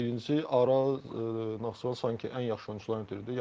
Birincisi, Araz Naxçıvan sanki ən yaxşı oyunçuların itirdi.